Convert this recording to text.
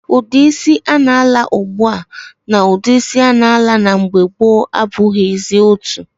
Udi isi a na-ala ugbua na udi isi a na-ala na mgbe gboo abughizi otu.